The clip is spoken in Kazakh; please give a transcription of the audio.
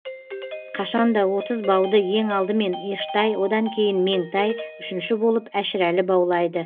қашан да отыз бауды ең алдымен ештай одан кейін меңтай үшінші болып әшірәлі баулайды